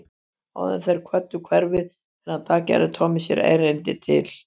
Áður en þeir kvöddu hverfið þennan dag gerði Tommi sér erindi til